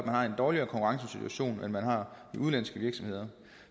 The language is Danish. har en dårligere konkurrencesituation end man har i udenlandske virksomheder